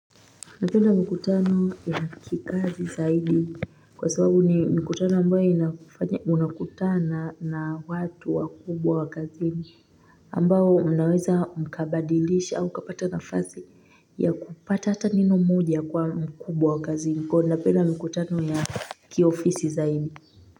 Napenda mikutano ya kikazi zaidi kwa sababu ni mkutano ambayo inafanya unakutana na watu wa kubwa wa kazini ambao mnaweza mkabadilisha au ukapata nafasi ya kupata hata neno moja kwa mkubwa wa kazini kwa hivyo napenda mikutano ya kiofisi zaidi.